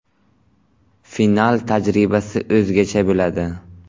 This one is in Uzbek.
Final tajribasi o‘zgacha bo‘ladi.